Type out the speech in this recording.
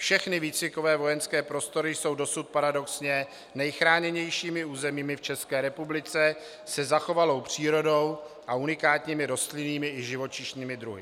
Všechny výcvikové vojenské prostory jsou dosud paradoxně nejchráněnějšími územími v České republice se zachovanou přírodou a unikátními rostlinnými i živočišnými druhy.